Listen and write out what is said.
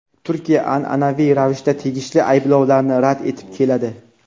Turkiya an’anaviy ravishda tegishli ayblovlarni rad etib keladi.